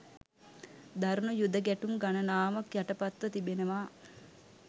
දරුණු යුධ ගැටුම් ගණනාවක් යටපත්ව තිබෙනවා.